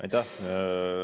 Aitäh!